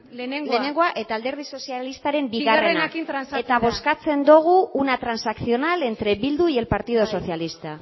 lehenengoa lehenengoa eta alderdi sozialistaren bigarrena bigarrenarekin trantsatua eta bozkatzen dugu una transaccional entre bildu y el partido socialista